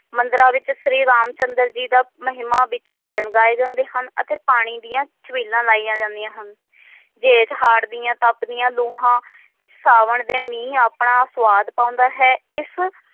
ਮੰਦਰਾਂ ਵਿਚ ਸ਼੍ਰੀ ਰਾਮ ਚੰਦਰ ਜੀ ਦਾ ਮਹਿਮਾ ਵਿਚ ਭਜਨ ਗਏ ਜਾਂਦੇ ਹਨ ਅਤੇ ਪਾਣੀ ਦੀਆਂ ਛਬੀਲਾਂ ਲਾਈਆਂ ਜਾਂਦੀਆਂ ਹਨ ਜੇਠ ਹਾੜ ਦੀਆਂ ਤਪਦੀਆਂ ਲੂਹਾਂ ਸਾਵਣ ਦੇ ਮੀਂਹ ਆਪਣਾ ਸਵਾਦ ਪਾਉਂਦਾ ਹੈ ਇਸ